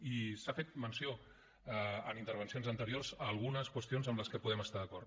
i s’ha fet menció en intervencions anteriors a algunes qüestions amb les que podem estar d’acord